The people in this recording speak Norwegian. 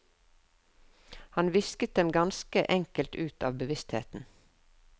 Han visket dem ganske enkelt ut av bevisstheten.